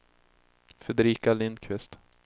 Fredrika Lindqvist